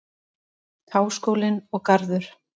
Háskólinn og Garður.